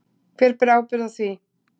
Hver ber ábyrgð á því?